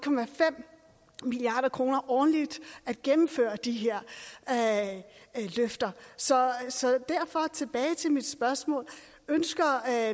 milliard kroner årligt at gennemføre de her løfter så derfor tilbage til mit spørgsmål ønsker